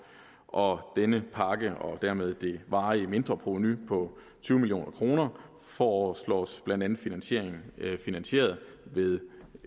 og denne pakke og dermed det varige mindreprovenu på tyve million kroner foreslås blandt andet finansieret ved finansieret ved